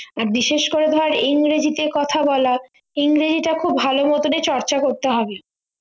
আর বিশেষ করে ধরে ইংরেজি তে কথা বলা ইংরেজিটা খুব ভালো মতনই চর্চা করতে হবে